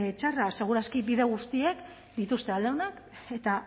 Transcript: txarra seguraski bide guztiek dituzte alde onak eta